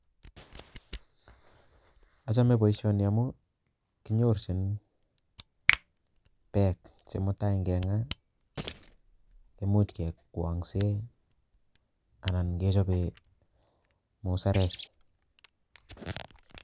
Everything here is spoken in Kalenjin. Ochome boishoni amun kinyorchin peek chemutai inkengaa koimuch kekwonsen anan kechoben musarek.